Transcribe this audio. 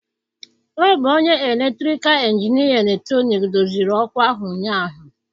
Ọ bụ onye elektrikal injinia eletrọnịkị doziri ọkụ ahụ ụnyahụ.